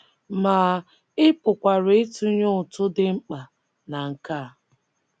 Ma ị pụkwara ịtụnye ụtụ dị mkpa na nke a.